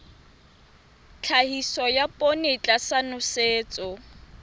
tlhahiso ya poone tlasa nosetso